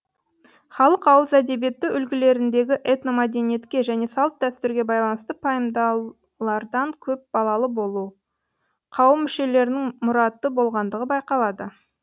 халық ауыз әдебиеті үлгілеріндегі этномәдениетке және салт дәстүрге байланысты пайымдаулардан көп балалы болу қауым мүшелерінің мұраты болғандығы байқалады